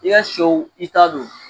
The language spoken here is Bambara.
I ka sɛw i ta don.